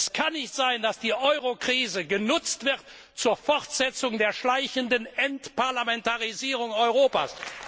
Es kann nicht sein, dass die Eurokrise genutzt wird zur Fortsetzung der schleichenden Entparlamentarisierung Europas.